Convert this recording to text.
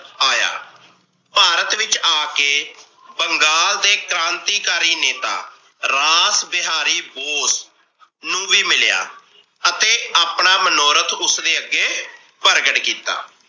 ਆਇਆ। ਭਾਰਤ ਵਿਚ ਆ ਕੇ ਬੰਗਾਲ ਦੇ ਕ੍ਰਾਂਤੀਕਾਰੀ ਨੇਤਾ ਰਾਸ ਵਿਹਾਰੀ ਬੋਸ ਨੂੰ ਵੀ ਮਿਲਿਆ ਅਤੇ ਆਪਣਾ ਮਨੋਹਰਤ ਉਸਦੇ ਅੱਗੇ ਪ੍ਰਗਟ ਕੀਤਾ ।